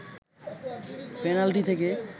penalty থেকে